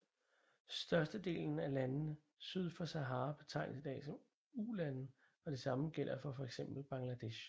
Størstedelen af landene syd for Sahara betegnes i dag som ulande og det samme gælder for fx Bangladesh